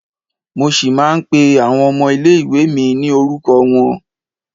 Mo ṣì máa ń pé àwọn ọmọ ilé ìwée mi ní orúkọ wọn.